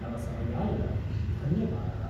तव समयाय धन्यवादः।